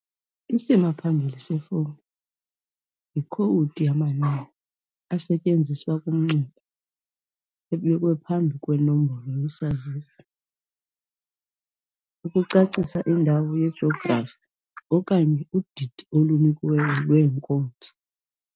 Isimaphambili sefowuni yikhowudi yamanani, esetyenziswa kumnxeba, ebekwe phambi kwenombolo yesazisi ukucacisa indawo yejografi okanye udidi olunikiweyo lweenkonzo.